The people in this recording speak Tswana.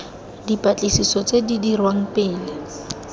dipatlisiso tse di dirwang pele